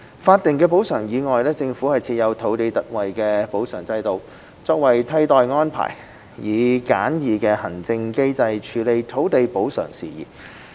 法定補償以外，政府設有土地特惠補償制度，作為替代安排，以簡易的行政機制處理土地補償事宜。